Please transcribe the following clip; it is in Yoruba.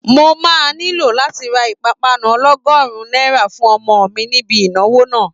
Mo máa nílò láti ra ìpápánu ọlọ́gọ́rùn-ún náírà fún ọmọ mi níbi ìnáwó náà